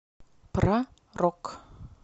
про рок